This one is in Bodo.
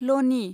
लनि